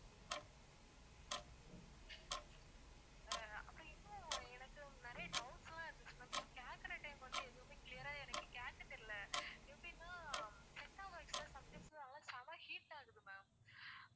ஆஹ் அப்போ இன்னும் எனக்கு நிறைய doubts லாம் இருந்துச்சுன்னா கேக்குற time க்கு வந்து எதுவுமே clear ஆ எனக்கு கேக்க தெரியல எப்படின்னா setup box லாம் sometimes நல்லா செம heat ஆகுது ma'am